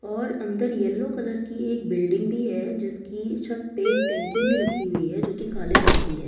और अंदर yellow colour की एक बिल्डिंग भी है जिसकी छत पे एक टैंकी भी रखी हुई है जो कि काले रंग की है।